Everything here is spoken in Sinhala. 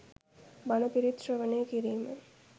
බණ පිරිත් ශ්‍රවණය කිරීම